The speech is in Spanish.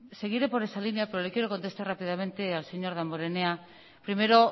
seguiré por esa línea pero le quiero contestar rápidamente al señor damborenea primero